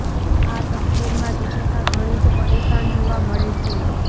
આ તસવીરમાં દિપીકા ઘણી જ પરેશાન જોવા મળે છે